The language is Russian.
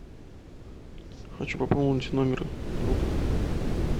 хочу пополнить номер друга